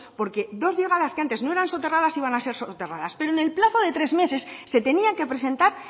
porque dos llegadas que antes no era soterradas iban a ser soterradas pero en el plazo de tres meses se tenían que presentar